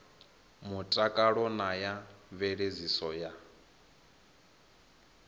mutakalo na ya mveledziso ya